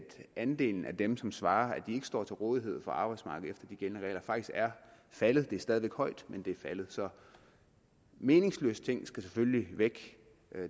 andelen af dem som svarer at ikke står til rådighed for arbejdsmarkedet de gældende regler faktisk er faldet det er stadig væk højt men det er faldet meningsløse ting skal selvfølgelig væk